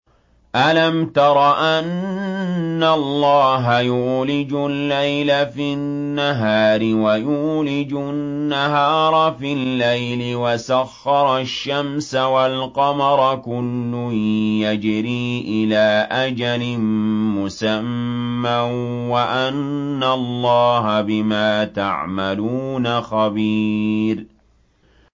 أَلَمْ تَرَ أَنَّ اللَّهَ يُولِجُ اللَّيْلَ فِي النَّهَارِ وَيُولِجُ النَّهَارَ فِي اللَّيْلِ وَسَخَّرَ الشَّمْسَ وَالْقَمَرَ كُلٌّ يَجْرِي إِلَىٰ أَجَلٍ مُّسَمًّى وَأَنَّ اللَّهَ بِمَا تَعْمَلُونَ خَبِيرٌ